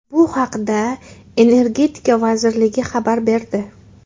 Bu haqda Energetika vazirligi xabar berdi .